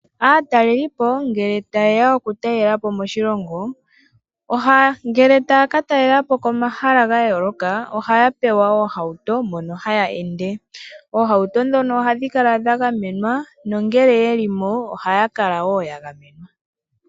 Aatalelipo ngele taye ya okutalela po moshilongo, ngele taya katalela po pomahala gayooloka ohaya pewa oohauto mono taya ende. Oohauto ndhono ohadhi kala dhagamenwa nongele yeli mo ohaya kala yagamenwa.